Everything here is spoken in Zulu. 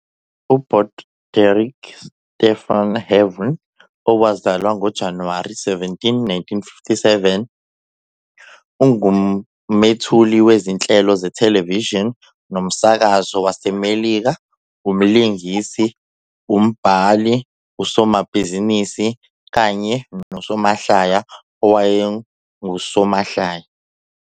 UBroderick Stephen Harvey, owazalwa ngoJanuwari 17, 1957, ungumethuli wezinhlelo zethelevishini nomsakazo waseMelika, umlingisi, umbhali, usomabhizinisi kanye nosomahlaya owayengusomahlaya.